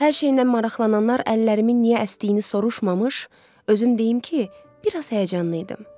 Hər şeyindən maraqlananlar əllərimin niyə əsdiyini soruşmamış, özüm deyim ki, bir az həyəcanlı idim.